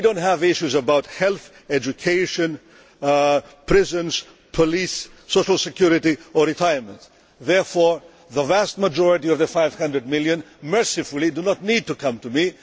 We do not have issues about health, education, prisons, police, social security or retirement, therefore the vast majority of the 500 million mercifully do not need to come to me.